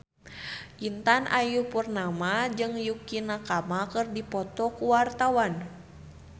Intan Ayu Purnama jeung Yukie Nakama keur dipoto ku wartawan